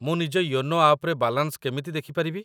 ମୁଁ ନିଜ ୟୋନୋ ଆପ୍‌ରେ ବାଲାନ୍ସ କେମିତି ଦେଖି ପାରିବି ?